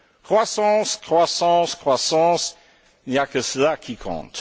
Croissance, croissance, croissance, il n'y a que cela qui compte!